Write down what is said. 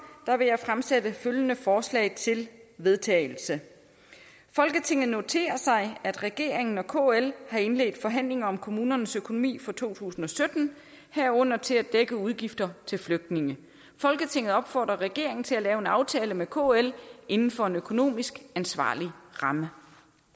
vil jeg fremsætte følgende forslag til vedtagelse folketinget noterer sig at regeringen og kl har indledt forhandlinger om kommunernes økonomi for to tusind og sytten herunder til at dække udgifter til flygtninge folketinget opfordrer regeringen til at lave en aftale med kl inden for en økonomisk ansvarlig ramme